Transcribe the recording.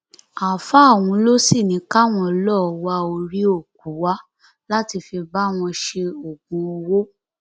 àáfàá ọhún ló sì ní káwọn lọọ wá orí òkú wá láti fi bá wọn ṣe oògùn owó